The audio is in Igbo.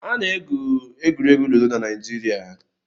Ana-egwu egwuregwu Ludo na Naịjirịa.